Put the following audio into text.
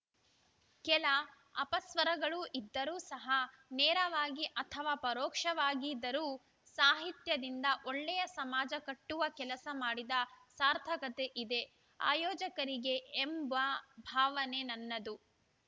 ಕೆಲ ಅಪಸ್ವರಗಳು ಇದ್ದರೂ ಸಹ ನೇರವಾಗಿ ಅಥವಾ ಪರೋಕ್ಷವಾಗಿದರೂ ಸಾಹಿತ್ಯದಿಂದ ಒಳ್ಳೆಯ ಸಮಾಜ ಕಟ್ಟುವ ಕೆಲಸ ಮಾಡಿದ ಸಾರ್ಥಕತೆ ಇದೆ ಆಯೋಜಕರಿಗೆ ಎಂಬ ಭಾವನೆ ನನ್ನದು